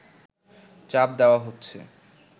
চাপ দেওয়া হচ্ছে